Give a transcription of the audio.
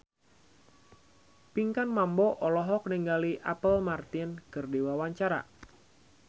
Pinkan Mambo olohok ningali Apple Martin keur diwawancara